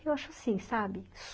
Eu acho assim, sabe?